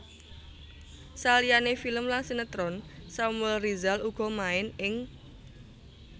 Saliyane film lan sinetron Samuel Rizal uga main ing